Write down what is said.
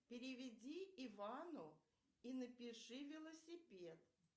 переведи ивану и напиши велосипед